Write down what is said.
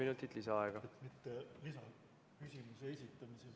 Järgmisena Jaak Valge, palun!